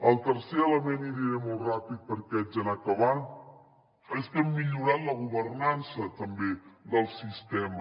el tercer element i aniré molt ràpid perquè haig d’anar acabant és que hem millorat la governança també del sistema